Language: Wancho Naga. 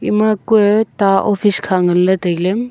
ema kue ta office kha ngan ley tailey.